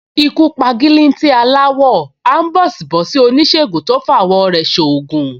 Ikú p’agílítí aláwọ, áḿbọ̀sìbọ̀sí Ìsègùn tó f’awọ̀ rẹ̀ ṣ’oògùn